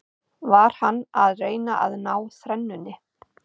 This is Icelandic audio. Var hann að reyna að ná þrennunni?